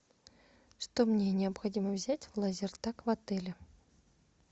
что мне необходимо взять в лазертаг в отеле